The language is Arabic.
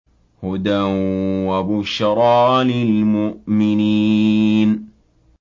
هُدًى وَبُشْرَىٰ لِلْمُؤْمِنِينَ